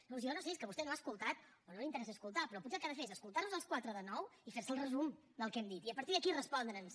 llavors jo no sé si és que vostè no ha escoltat o no li interessa escoltar però potser el que ha de fer és escoltar nos als quatre de nou i fer se el resum del que hem dit i a partir d’aquí respondre’ns